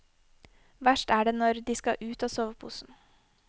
Verst er det når de skal ut av soveposen.